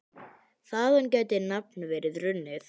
Þaðan gæti nafnið verið runnið.